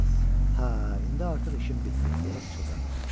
Miles: "Hə, indi artıq işim bitdi" deyə pıçıldadı.